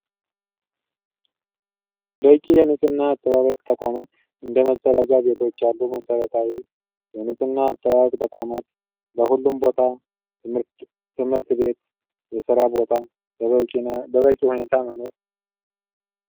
በቂ የንፅህና አጠባበቅ ተቋማት እንደ መፀዳጃ ቤቶች ያሉ መሰረታዊ የንፅህና አጠባበቅ ተቋማት በሁሉም ቦታ ትምህርት ቤት ፣የስራ ቦታ በበቂ ሁኔታ መኖር።